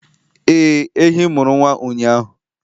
Ee, ehi mụrụ nwa ụnyahụ